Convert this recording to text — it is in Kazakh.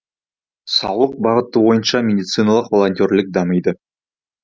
саулық бағыты бойынша медициналық волонтерлік дамиды